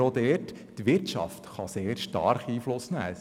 Wir stellen fest, dass die Wirtschaft sehr stark Einfluss nehmen kann: